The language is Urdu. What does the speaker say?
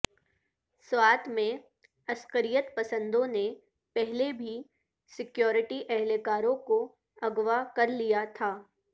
سوات میں عسکریت پسندوں نے پہلے بھی سکیورٹی اہلکاروں کو اغو کر لیا تھا